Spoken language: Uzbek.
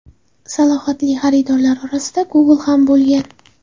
Salohiyatli xaridorlar orasida Google ham bo‘lgan.